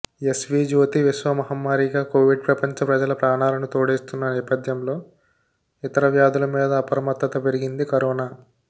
ఎస్విజ్యోతి విశ్వ మహమ్మారిగా కొవిడ్ ప్రపంచ ప్రజల ప్రాణాలను తోడేస్తున్న నేపథ్యంలో ఇతర వ్యాధుల మీదా అప్రమత్తత పెరిగింది కరోనా